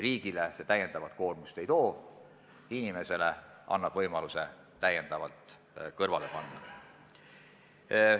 Riigile see lisakoormust ei too, inimesele aga annab võimaluse rohkem kõrvale panna.